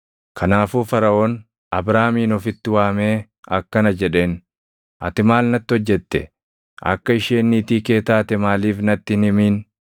Kanaafuu Faraʼoon Abraamin ofitti waamee akkana jedheen; “Ati maal natti hojjette? Akka isheen niitii kee taate maaliif natti hin himin?